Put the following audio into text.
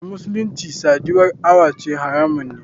A musulunci sadiwa awace haramun ne.